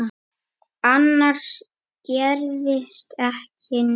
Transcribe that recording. Annars gerðist ekki neitt.